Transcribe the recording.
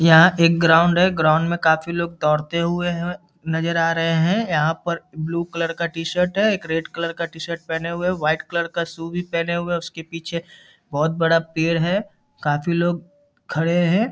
यहाँ एक ग्राउंड है ग्राउंड में काफी लोग दौड़ते हुए नजर आ रहे हैं यहाँ पर ब्लू कलर का टी-शर्ट एक रेड कलर का टी-शर्ट पहने हुए है वाइट कलर का शू भी पहने हुए है उसके पीछे बहुत बड़ा पेड़ है काफी लोग खड़े हैं |